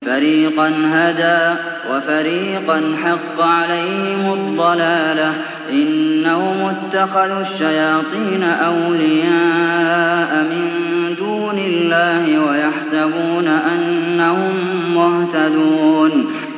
فَرِيقًا هَدَىٰ وَفَرِيقًا حَقَّ عَلَيْهِمُ الضَّلَالَةُ ۗ إِنَّهُمُ اتَّخَذُوا الشَّيَاطِينَ أَوْلِيَاءَ مِن دُونِ اللَّهِ وَيَحْسَبُونَ أَنَّهُم مُّهْتَدُونَ